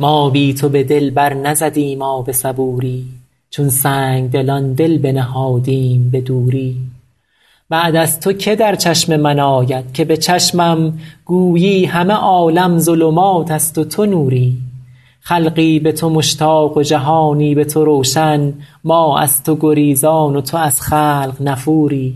ما بی تو به دل بر نزدیم آب صبوری چون سنگدلان دل بنهادیم به دوری بعد از تو که در چشم من آید که به چشمم گویی همه عالم ظلمات است و تو نوری خلقی به تو مشتاق و جهانی به تو روشن ما در تو گریزان و تو از خلق نفوری